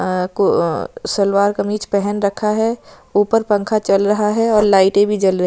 अ को अ सलवार कमीज पेहेन रखा है उपर पंखा चल रहा है और लाइटे भी जल रही--